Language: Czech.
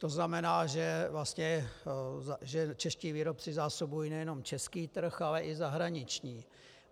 To znamená, že čeští výrobci zásobují nejenom český trh, ale i zahraniční.